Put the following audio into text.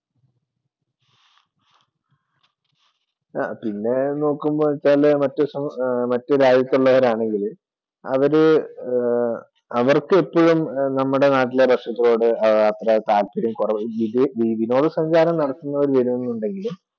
പിന്നെ നോക്കുമ്പോൾ എന്ന് വച്ചാല് മറ്റേ രാജ്യത്തുള്ളവരാണെങ്കില് അവർക്കെപ്പോഴും നമ്മുടെ നാട്ടിലെ വിനോദ സഞ്ചാരം നടത്തുന്നവർക്ക് വിനോദമുണ്ടെങ്കിലും